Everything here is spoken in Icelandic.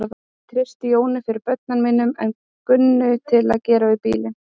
Ég treysti Jóni fyrir börnunum mínum en Gunnu til að gera við bílinn.